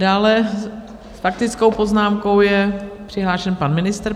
Dále s faktickou poznámkou je přihlášen pan ministr.